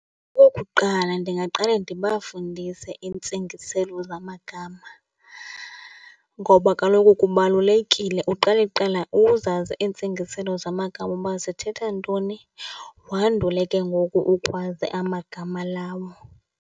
Okokuqala, ndingaqale ndibafundise iintsingiselo zamagama ngoba kaloku kubalulekile uqale kuqala uzazi iintsingiselo zamagama uba zithetha ntoni, wandule ke ngoku ukwazi amagama lawo.